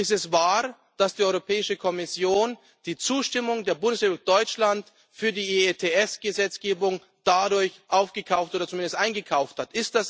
Ist es wahr, dass die Europäische Kommission die Zustimmung der Bundesrepublik Deutschland für die EETS Gesetzgebung dadurch aufgekauft oder zumindest eingekauft hat?